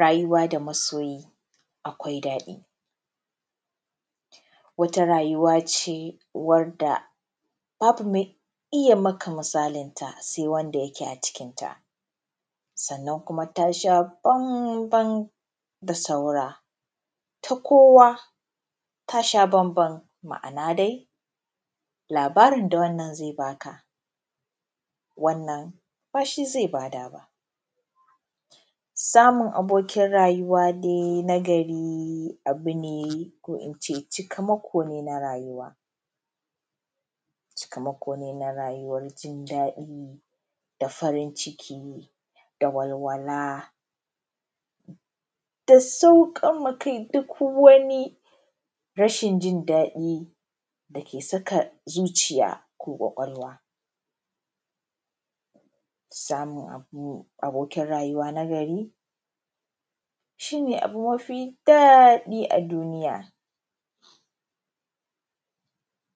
Rayuwa da masoyi akwai daɗi, wata rayuwa ce wadda babu mai iya maka misalinta sai wanda sai wanda yake a cikinta, sannan kuma tasha bambam da saura, ta kowa tasha bambam, ma’ana dai labarin da wannan zai baka wannan bashi zai bada ba. Samun abokin rayuwa dai na gari abu ne ko ince taimako ne na rayuwa, cikamako ne rayuwan jin dadi da farin ciki da walwala da saukanma kai duk wani rashin jin daɗi dake saka zuciya ko kwakwalwa. Samun abo abokin rayuwa na gari shi ne abu mafi daɗi a duniya.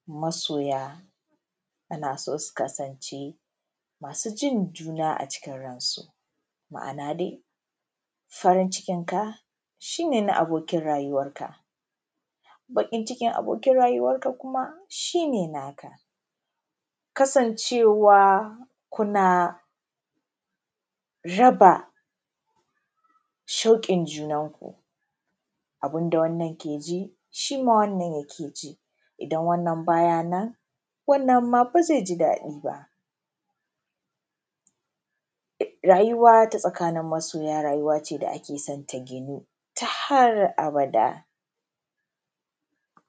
Masoya ana so su kasance masu jin juna a cikin ransu, ma’ana dai farin cikinka shi ne na abokin rayuwanka, bakin cikin abokin rayuwarka kuma shi ne naka, kasancewa kuna raba shauƙin junanku, abinda wannan ke ji shima wannan ke ji, idan wannan baya nan, wannan ma ba zai ji daɗi ba. Rayuwa ta tsakanin masoya rayuwa ce dda akesan ta gino ta har abada.